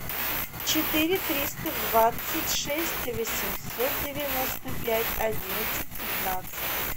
четыре триста двадцать шесть восемьсот девяносто пять одиннадцать пятнадцать